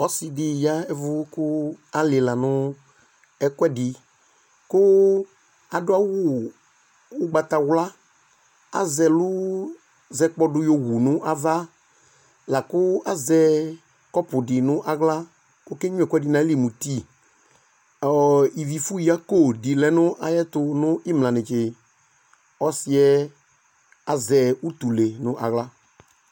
Ɔsidi yavu kualila nu ɛkuɛdi ku adu awu ugbatawla kuazɛlu zɛkpɔdu wu nava laku lazɛ kɔpu di nawla kɔkenyua ɛkuedi nayili mu eti Ivifuyako dilɛ nayɛtu nimla netse Ɔsi yɛ azɛ utule nu awla